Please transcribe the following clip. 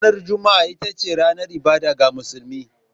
Ranar Juma'a ita ce ranar ibada ga musulmi.